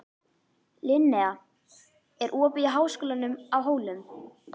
Linnea, er opið í Háskólanum á Hólum?